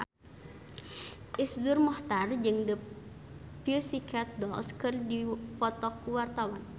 Iszur Muchtar jeung The Pussycat Dolls keur dipoto ku wartawan